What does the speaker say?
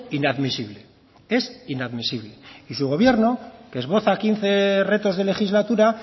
inadmisible es inadmisible y su gobierno que esboza quince retos de legislatura